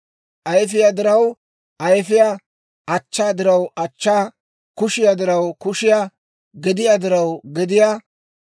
ayfiyaa diraw ayfiyaa, achchaa diraw achchaa, kushiyaa diraw kushiyaa, gediyaa diraw gediyaa,